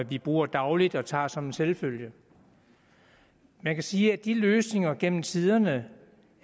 vi bruger dagligt og tager som en selvfølge man kan sige at de løsninger gennem tiderne